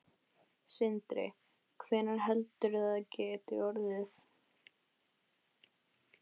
Sindri: Hvenær heldurðu að það geti orðið?